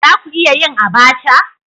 Za ku iya yin Abacha?